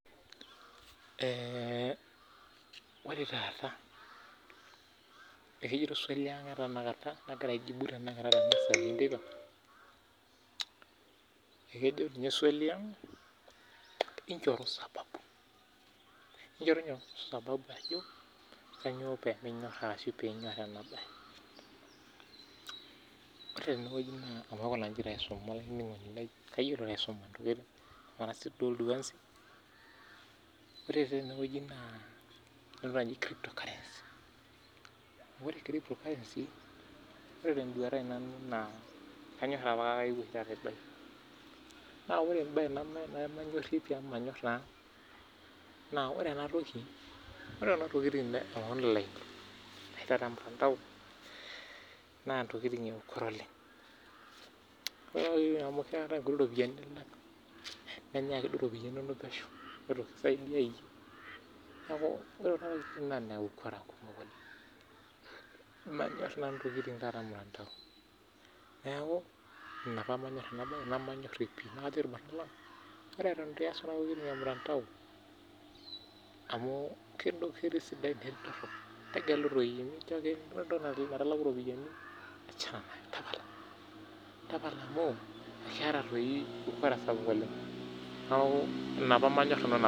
eeeh ore taata naa kejito swali injoru sababu kainyioo peeminyoor arashu piinyor ena baye ore tenanu nemanyor pii amu ore entoki nemanyorie naa naa kisapuk ukora amuu ekinyae iropiani nonok pesho amu keya nikileji ooleng neeku ina peemanyor nanu intokiting ormutandao naa ore eton itu iyaas kuna tokiting tegelu doi ore enaipirta iropiani tunguai naa tapala amuu kisapuk ukora